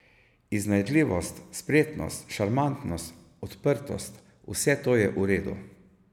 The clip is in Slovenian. Iznajdljivost, spretnost, šarmantnost, odprtost, vse to je v redu.